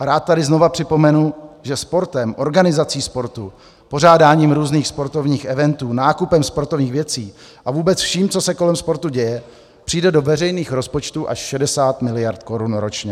A rád tady znova připomenu, že sportem, organizací sportu, pořádáním různých sportovních eventů, nákupem sportovních věcí a vůbec vším, co se kolem sportu děje, přijde do veřejných rozpočtů až 60 miliard korun ročně.